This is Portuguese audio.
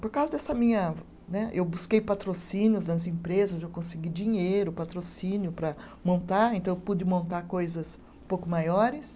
Por causa dessa minha, né. Eu busquei patrocínios nas empresas, eu consegui dinheiro, patrocínio para montar, então eu pude montar coisas um pouco maiores.